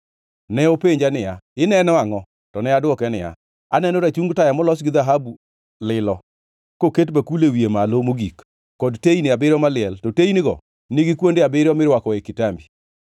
Ne openja niya, “Ineno angʼo?” To ne adwoke niya, “Aneno rachung taya molos gi dhahabu lilo, koket bakul e wiye malo mogik, kod teyni abiriyo maliel, to teynigo nigi kuonde abiriyo mirwakoe kitambi.